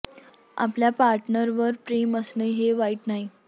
आपल्या पार्टनर वर प्रेम असणं हे वाईट नाही